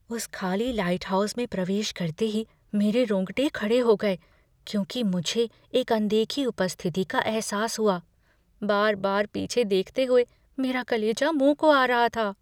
उस खाली लाइटहाउस में प्रवेश करते ही मेरे रोंगटे खड़े हो गए क्यूंकि मुझे एक अनदेखी उपस्थिति का एहसास हुआ। बार बार पीछे देखते हुए मेरा कलेजा मुँह को आ रहा था।